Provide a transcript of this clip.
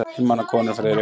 Einmana konur, Friðrik.